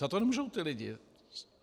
Za to nemůžou ti lidé.